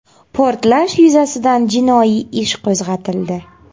Portlash yuzasidan jinoiy ish qo‘zg‘atildi .